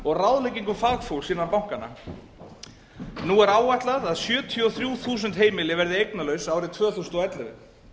og ráðleggingum fagfólks innan bankanna nú er áætlað að sjötíu og þrjú þúsund heimili verði eignalaus árið tvö þúsund og ellefu